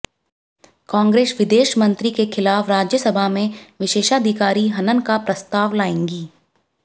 कांग्रेस विदेश मंत्री के खिलाफ राज्यसभा में विशेषाधिकार हनन का प्रस्ताव लाएगी